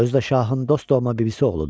Özü də Şahın dostu olma bibisi oğludur.